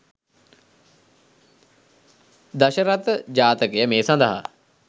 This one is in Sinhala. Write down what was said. දශරථ ජාතකය මේ සඳහා